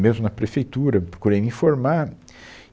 Mesmo na Prefeitura, eu procurei me informar.